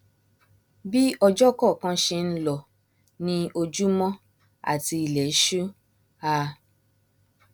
bí ọjọ kọọkan ṣe nlọ ni ojúmọ àti ilẹṣú a